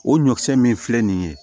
O ɲɔkisɛ min filɛ nin ye